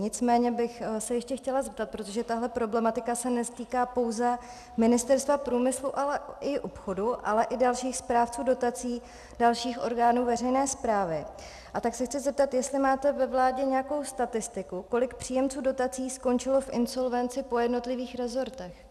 Nicméně bych se ještě chtěla zeptat, protože tahle problematika se netýká pouze Ministerstva průmyslu, ale i obchodu, ale i dalších správců dotací, dalších orgánů veřejné správy, a tak se chci zeptat, jestli máte ve vládě nějakou statistiku, kolik příjemců dotací skončilo v insolvenci, po jednotlivých rezortech.